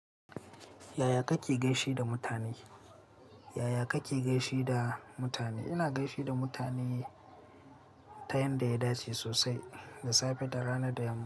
Yaya kake gaishe da mutane? Yaya kake gaishe da mutane? Ina gaishe da mutane ta yanda ya dace sosai, da safe da rana da yamma.